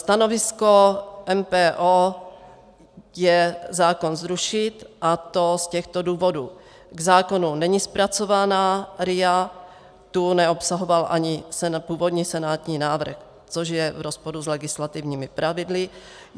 Stanovisko MPO je zákon zrušit, a to z těchto důvodů: K zákonu není zpracována RIA, tu neobsahoval ani původní senátní návrh, což je v rozporu s legislativními pravidly.